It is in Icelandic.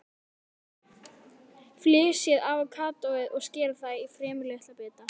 Flysjið avókadóið og skerið það í fremur litla bita.